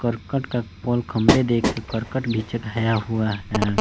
करकट का पॉल खंबे देखकर करकट भी चघाया हुआ है।